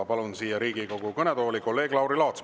Palun siia Riigikogu kõnetooli kolleeg Lauri Laatsi.